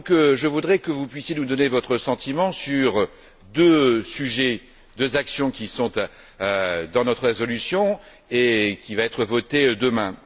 Je voudrais donc que vous puissiez nous donner votre sentiment sur deux sujets, deux actions qui figurent dans notre résolution qui va être votée demain.